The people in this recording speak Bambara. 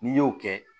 N'i y'o kɛ